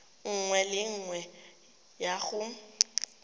nngwe le nngwe ya go